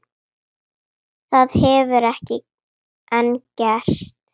Það hefur ekki enn gerst.